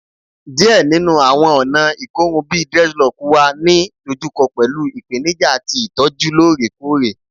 Diẹ ninu awọn ọna ikorun bi dreadlocks wa ni dojuko pẹlu ipenija ti itọju loorekoore